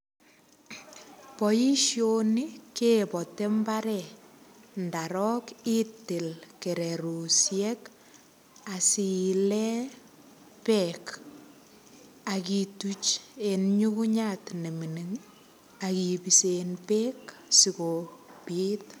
Boisioni kepati imbaret ndarok itil kererusiek asi ilee bek ak ituch eng nyungunyat ne mining ii ak ipisen beek sigopit.